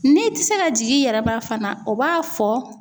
N'i tɛ se ka jigin i yɛrɛ ma fana o b'a fɔ